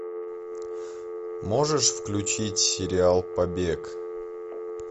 можешь включить сериал побег